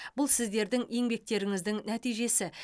бұл сіздердің еңбектеріңіздің нәтижесі